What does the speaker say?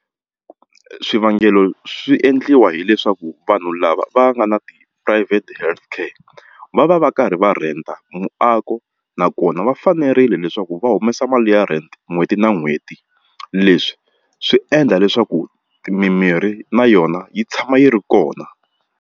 Swivangelo swi endliwa hileswaku vanhu lava va nga na ti-private healthcare va va va karhi va rhenta muako nakona va fanerile leswaku va humesa mali ya rent n'hweti na n'hweti leswi swi endla leswaku mimirhi na yona yi tshama yi ri kona.